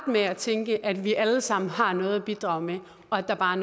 med at tænke at vi alle sammen har noget at bidrage med og at der bare